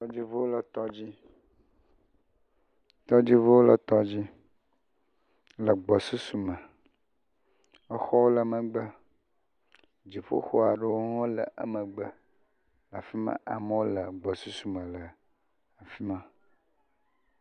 Tɔdziŋu le tɔdzi, tɔdziŋu le tɔdzi le gbɔsusume. Exɔwo le megbe. Dziƒoxɔ aɖewo hã le emegbe le afi ma. Amewo le gbɔsusume le afi ma.